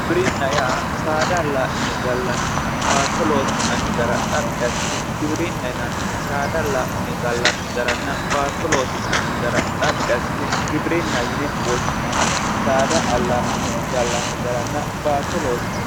Giwirinna yaa saada allaa'line gallanninna baatto loosi'nanni gara xaphi assine giwirinna yinanni saada allaa'line gallanni garanna baatto loosi'nanni gara xaphi assine giwirinna yine woshshinanni saada allaa'line gallanni garanna baatto loosi'ne gallanni